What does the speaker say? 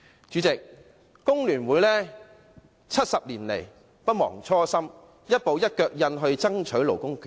主席，工聯會70年來不忘初心，一步一腳印爭取勞工權益。